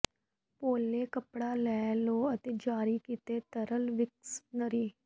ਪੋਲੇ ਕੱਪੜਾ ਲੈ ਲਵੋ ਅਤੇ ਜਾਰੀ ਕੀਤੇ ਤਰਲ ਵਿਕਸ਼ਨਰੀ